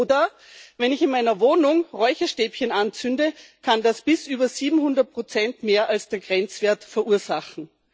Oder Wenn ich in meiner Wohnung Räucherstäbchen anzünde, kann das bis über 700 mehr als den Grenzwert verursachen.